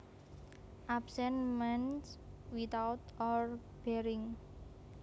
Absent means without or barring